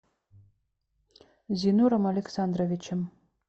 зинуром александровичем